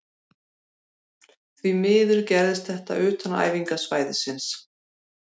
Því miður gerðist þetta utan æfingasvæðisins.